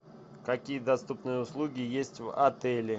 какие доступные услуги есть в отеле